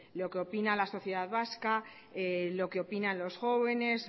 lo que opina la sociedad vasca lo que opinan los jóvenes